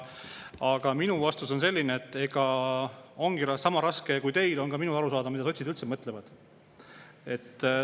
Aga minu vastus on selline, et sama raske kui teil on ka minul aru saada, mida sotsid üldse mõtlevad.